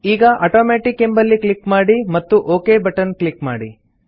ಈಗ ಆಟೋಮ್ಯಾಟಿಕ್ ಎಂಬಲ್ಲಿ ಕ್ಲಿಕ್ ಮಾಡಿ ಮತ್ತು ಒಕ್ ಬಟನ್ ಕ್ಲಿಕ್ ಮಾಡಿ